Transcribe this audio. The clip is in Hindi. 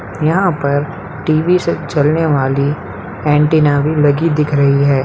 यहाँ पर टी.वी. से चलने वाली एनटीना भी लगी दिख रही है।